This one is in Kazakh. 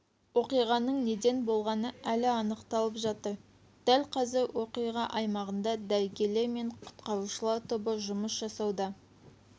оқиғаның неден болғаны әлі анықталып жатыр дәл қазір оқиға аймағында дәрігерлер мен құтқарушылар тобы жұмыс жасауда